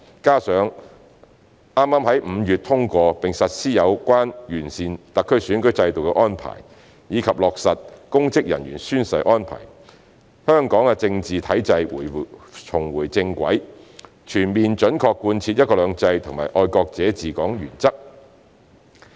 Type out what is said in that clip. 加上剛剛於5月通過並實施有關完善特區選舉制度的安排，以及落實公職人員宣誓安排，香港的政治體制重回正軌，全面準確貫徹"一國兩制"及"愛國者治港"原則。